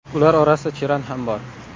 Ular orasida Cheran ham bor.